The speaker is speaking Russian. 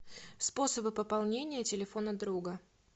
способы пополнения телефона друга